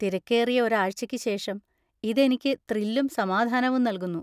തിരക്കേറിയ ഒരാഴ്ചയ്ക്ക് ശേഷം ഇത് എനിക്ക് ത്രില്ലും സമാധാനവും നൽകുന്നു.